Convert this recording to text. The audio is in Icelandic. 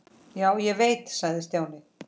Já, ég veit sagði Stjáni.